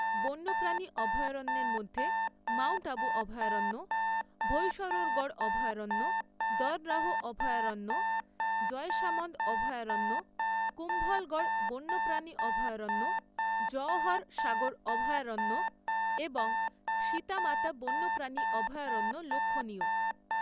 বন্যপ্রাণী অভয়ারণ্যের মধ্যে মাউন্ট আবু অভয়ারণ্য, ভৈসরোরগড় অভয়ারণ্য, দর্‌রাহ অভয়ারণ্য, জয়সামন্দ অভয়ারণ্য, কুম্ভলগড় বন্যপ্রাণী অভয়ারণ্য, জওহর সাগর অভয়ারণ্য এবং সীতা মাতা বন্যপ্রাণী অভয়ারণ্য লক্ষণীয়।